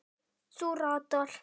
Þú ratar.